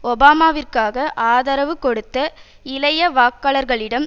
ஒபாமாவிற்காக ஆதரவு கொடுத்த இளைய வாக்காளர்களிடம்